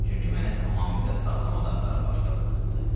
Çünki mənə tamamilə sağlam adamların başları lazımdır.